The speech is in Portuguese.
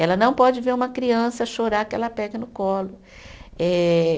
Ela não pode ver uma criança chorar que ela pega no colo. Eh